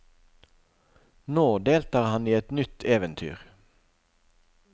Nå deltar han i et nytt eventyr.